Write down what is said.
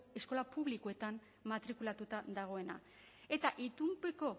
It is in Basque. eskola publikoetan matrikulatuta dagoena eta itunpeko